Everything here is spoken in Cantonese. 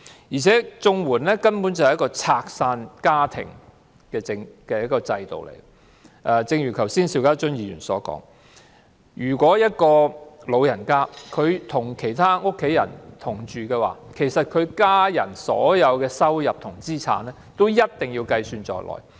而且，綜援根本是個拆散家庭的制度，正如邵家臻議員剛才所說，長者如果與家人同住，家人所有收入和資產一定要計算在內。